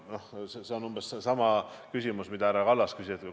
See on umbes sama küsimus, mida härra Kallas küsis.